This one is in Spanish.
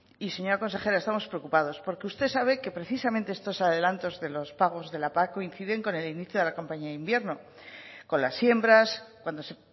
y señora consejera estamos preocupados porque usted sabe que precisamente estos adelantos de los pagos de la pac coinciden con el inicio de la campaña de invierno con las siembras cuando se